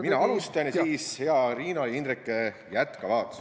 Mina alustan ja siis hea Riina ja Indrek jätkavad.